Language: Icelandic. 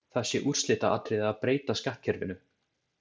Það sé úrslitaatriði að breyta skattkerfinu.